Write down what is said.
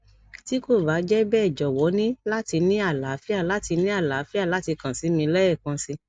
ti ko ba jẹ bẹ jọwọ ni lati ni alaafia lati ni alaafia lati kan si mi lẹẹkansi